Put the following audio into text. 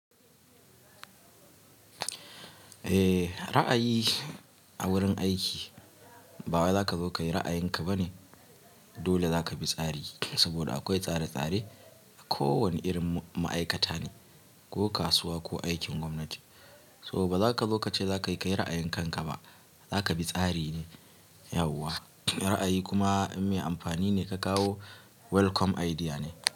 Eh, ra'ayi a wurin aiki bawai zaka zo ka yi ra'ayin ka bane. Dole zaka bi tsari saboda akwai tsare-tsare a kowane irin ma'aikata ne, ko kasuwa ko aikin gwamnati. So ba zaka zo ka ce za ka yi, kai ra'ayin kanka ba. Zaka bi tsari ne, yauwa. Ra'ayi kuma in mai amfani ne ka kawo welcome idea ne.